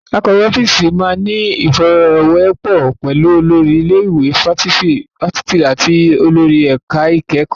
Akọ̀wé ọ́fíìsì máa ní ìfọ̀rọ̀wérọ̀ pẹ̀lú olórí ilé ìwé fáfitì àti olórí ẹ̀ka ìkẹ́kọ̀ọ́.